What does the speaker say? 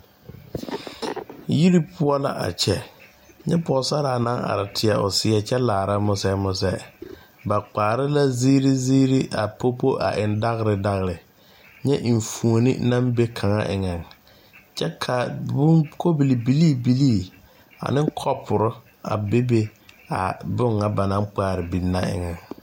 Yiri poɔ la a kyɛ nyɛ pɔɔsaraa naŋ are teɛ o seɛ kyɛ laara musɛɛ musɛɛ ba kpaare la zeere zeere a popo eŋ dagre dagre nyɛ enfuone naŋ be kaŋa eŋɛŋ kyɛ ka bon kobili bilii bilii aneŋ kɔpurre a bebe a bon ŋa ba naŋ kpaare biŋ na eŋɛŋ.